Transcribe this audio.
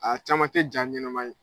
Aa caman te ja ɲɛnɛma ye.